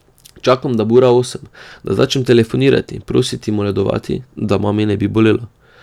Čakam, da bo ura osem, da začnem telefonariti, prositi, moledovati, da mami ne bi bolelo ...